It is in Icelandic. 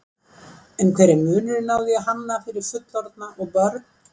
En hver er munurinn á því að hanna fyrir fullorðna og börn?